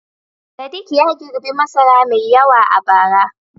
Sadiq ya girbi masara mai yawa a bara.